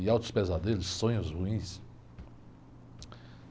E altos pesadelos, e sonhos ruins.